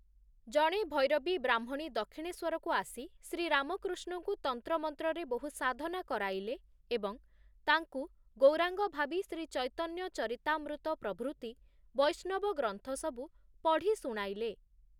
ଜଣେ ଭୈରବୀ ବ୍ରାହ୍ମଣୀ ଦକ୍ଷିଣେଶ୍ୱରକୁ ଆସି ଶ୍ରୀରାମକୃଷ୍ଣଙ୍କୁ ତନ୍ତ୍ରମନ୍ତ୍ରରେ ବହୁ ସାଧନା କରାଇଲେ ଏବଂ ତାଙ୍କୁ ଗୌରାଙ୍ଗ ଭାବି ଶ୍ରୀଚୈତନ୍ୟଚରିତାମୃତ ପ୍ରଭୃତି ବୈଷ୍ଣବ ଗ୍ରନ୍ଥସବୁ ପଢ଼ି ଶୁଣାଇଲେ ।